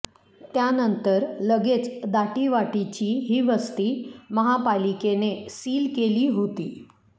त्यानंतर लगेच दाटीवाटीची ही वस्ती महापालिकेने सील केली होती